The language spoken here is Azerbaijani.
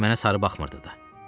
Heç mənə sarı baxmırdı da.